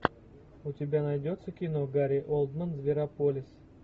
у тебя найдется кино гари олдман зверополис